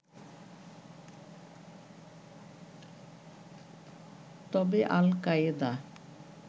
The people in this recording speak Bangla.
তবে আল-কায়েদা